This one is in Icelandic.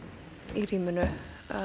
í rýminu